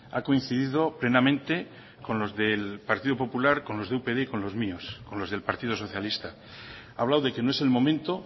ha coincidido plenamente con los del partido popular con los de upyd y con los míos con los del partido socialista ha hablado de que no es el momento